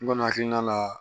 N kɔni hakilina la